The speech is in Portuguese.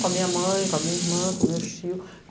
Com a minha mãe, com a minha irmã, com os meu tio.